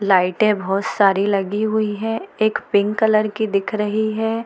लाइटे बहुत सारी लगी हुई है एक पिंक कलर की दिख रही है।